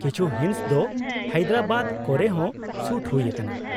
ᱠᱤᱪᱷᱩ ᱦᱤᱸᱥ ᱫᱚ ᱦᱟᱭᱫᱨᱟᱵᱟᱫ ᱠᱚᱨᱮ ᱦᱚᱸ ᱥᱩᱴ ᱦᱩᱭ ᱟᱠᱟᱱᱟ ᱾